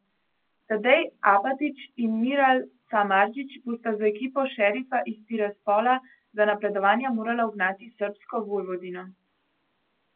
Tadej Apatič in Miral Samardžić bosta z ekipo Šerifa iz Tiraspola za napredovanje morala ugnati srbsko Vojvodino.